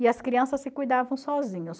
E as crianças se cuidavam sozinhas.